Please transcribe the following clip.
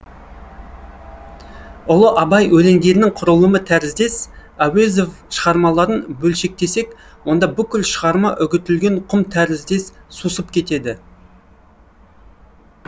ұлы абай өлеңдерінің құрылымы тәріздес әуезов шығармаларын бөлшектесек онда бүкіл шығарма үгітілген құм тәріздес сусып кетеді